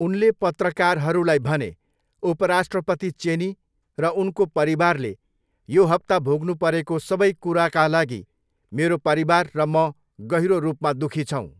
उनले पत्रकारहरूलाई भने, 'उपराष्ट्रपति चेनी र उनको परिवारले यो हप्ता भोग्नु परेको सबै कुरा लागि मेरो परिवार र म गहिरो रूपमा दुखी छौँ।'